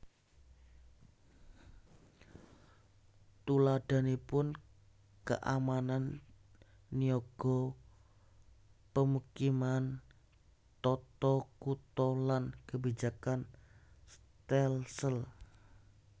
Tuladhanipun keamanan niaga pemukiman tata kutha lan kebijakan stelsel